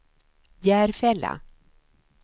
Järfälla